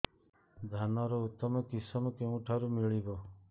ଧାନର ଉତ୍ତମ କିଶମ କେଉଁଠାରୁ ମିଳିବ